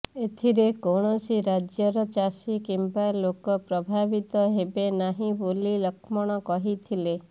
ଏଥିରେ କୌଣସି ରାଜ୍ୟର ଚାଷୀ କିମ୍ବା ଲୋକ ପ୍ରଭାବିତ ହେବେ ନାହି ବୋଲି ଲକ୍ଷ୍ମଣ କହିଥିଲେ